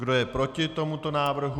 Kdo je proti tomuto návrhu?